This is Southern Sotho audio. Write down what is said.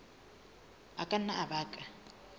a ka nna a baka